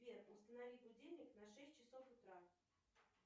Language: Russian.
сбер установи будильник на шесть часов утра